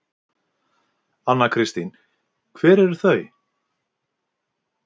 Anna Kristín: Hver eru þau?